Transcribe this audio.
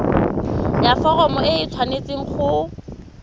ya foromo e tshwanetse go